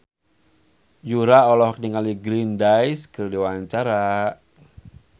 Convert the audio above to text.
Yura olohok ningali Green Day keur diwawancara